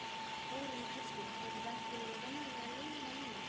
Þórunn Kristín hefur ekki farið venjulegar leiðir í lífinu.